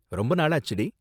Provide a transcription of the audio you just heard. ரொம்ப நாளாச்சுடி.